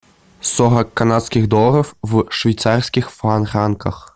сорок канадских долларов в швейцарских франках